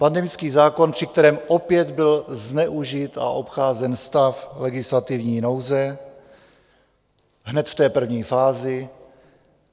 Pandemický zákon, při kterém opět byl zneužit a obcházen stav legislativní nouze hned v té první fázi.